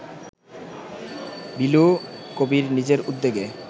বিলু কবীর নিজের উদ্যোগে